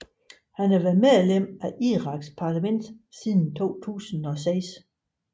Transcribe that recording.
Han var været medlem af Iraks parlament siden 2006